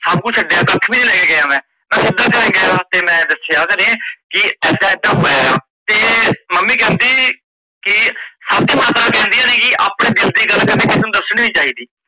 ਸਭ ਕੁਝ ਛੱਡਿਆ ਦਾਤੀ ਵੀ ਨੀ ਲੈਕੇ ਗਿਆ ਮੈ ਮੈ ਸਿੱਧਾ ਘਰੇ ਗਿਆ ਤੇ ਮੈ ਦਸਿਆ ਕੀ ਏਦਾ ਏਦਾ ਹੋਇਆ ਆ ਤੇ mummy ਕਹਿੰਦੀ ਕੀ ਸਾਡੀ ਮਾਤਾ ਕਹਿੰਦੀ ਕਹਿੰਦੀ ਸੀਗੀ ਆਪਣੇ ਦਿਲ ਦੀ ਗੱਲ ਕਦੇ ਕਿਸੇ ਨੂੰ ਦੱਸਣੀ ਨੀ ਚਾਹੀਦੀ।